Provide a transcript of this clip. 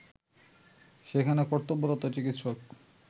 সেখানে কর্তব্যরত চিকিৎসক